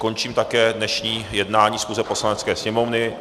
Končím také dnešní jednání schůze Poslanecké sněmovny.